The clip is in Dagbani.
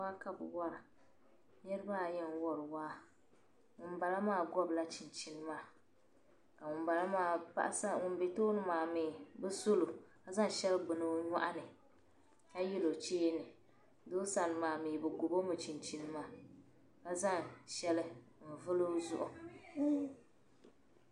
Waa ka bi wara niriba ayi n wari waa ŋum bala maa gobla chin chini maa. ka ŋum be. tooni maa mi ka bɛ solo kaza ŋ shɛli n gbuni onyɔɣni ka yalo cheeni. doosani maa mi bɛ gobɔmi chin chini maa kazaŋ shɛli n vuli ozuɣu.